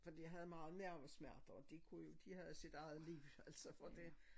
Fordi jeg havde meget mavesmerte og det kunne jo de havde sit eget liv altså for det